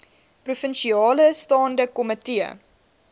provinsiale staande komitee